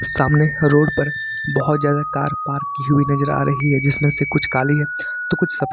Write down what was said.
सामने रोड पर बहोत ज्यादा कार पार्क की हुई नजर आ रही है जिसमें से कुछ काली है तो कुछ सफेद--